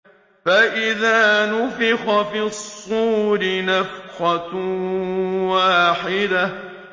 فَإِذَا نُفِخَ فِي الصُّورِ نَفْخَةٌ وَاحِدَةٌ